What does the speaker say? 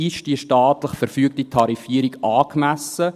Ist die staatlich verfügte Tarifierung angemessen?